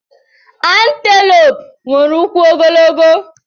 Anteloopu nwere ụkwụ ogologo.